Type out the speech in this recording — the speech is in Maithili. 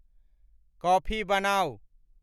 कॉफी बनाऊं